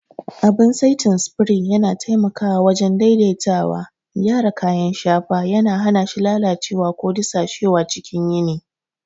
Abin saitin spray yana taimakawa wajen daidaitawa, gyara kayan shafa, yana hana shi lalacewa ko dusashewa cikin yini.